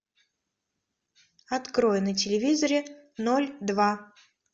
открой на телевизоре ноль два